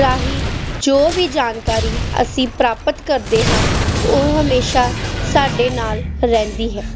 ਰਾਹੀਂ ਜੋ ਵੀ ਜਾਣਕਾਰੀ ਅਸੀਂ ਪ੍ਰਾਪਤ ਕਰਦੇ ਹਾਂ ਉਹ ਹਮੇਸ਼ਾਂ ਸਾਡੇ ਨਾਲ ਰਹਿੰਦੀ ਹੈ।